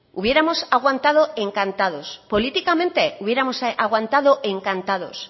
hubiéramos aguantado encantados políticamente hubiéramos aguantado encantados